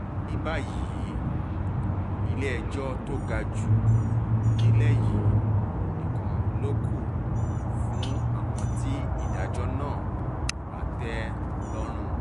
ní báyìí ilé-ẹjọ́ tó ga jù nílẹ̀ yìí nìkan ló kù fún àwọn tí ìdájọ́ náà kò bá tẹ́ lọ́rùn